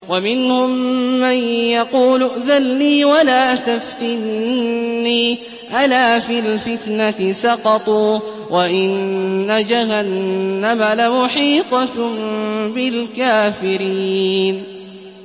وَمِنْهُم مَّن يَقُولُ ائْذَن لِّي وَلَا تَفْتِنِّي ۚ أَلَا فِي الْفِتْنَةِ سَقَطُوا ۗ وَإِنَّ جَهَنَّمَ لَمُحِيطَةٌ بِالْكَافِرِينَ